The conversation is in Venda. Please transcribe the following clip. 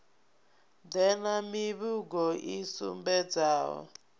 ḓe na mivhigo i sumbedzaho